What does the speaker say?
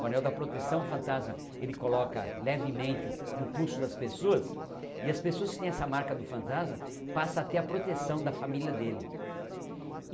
O anel da proteção o fantasma ele coloca levemente no pulso das pessoas e as pessoas que tem essa marca do fantasma passam a ter a proteção da família dele.